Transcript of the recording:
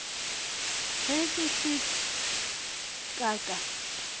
ge ke se ka ka